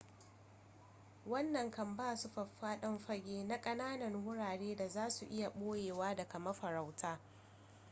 wannan kan ba su faffaɗan fage na kananan wurare da za su iya boyewa daga mafarauta